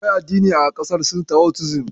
Akwai addini a ƙasar Sin Taoism.